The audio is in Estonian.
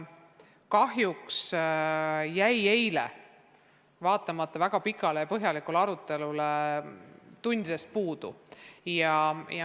Kahjuks jäi eile vaatamata väga pikale ja põhjalikule arutelule tundidest puudu.